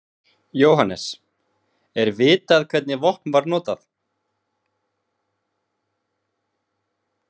Jóhannes: Er vitað hvernig vopn var notað?